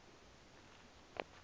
boy advance sp